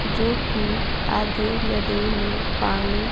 जो कि आधे नदी में पानी--